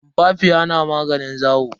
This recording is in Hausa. Tumfafiya na maganin zawo.